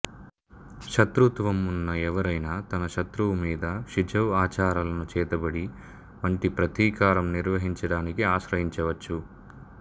శతృత్వం ఉన్న ఎవరైనా తన శత్రువు మీద షిజౌ ఆచారాలను చేతబడి వంటి ప్రతీకారం నిర్వహించడానికి ఆశ్రయించవచ్చు